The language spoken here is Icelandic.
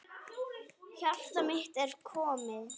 Hjartað mitt, ertu kominn?